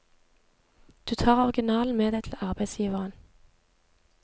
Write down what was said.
Du tar originalen med deg til arbeidsgiveren.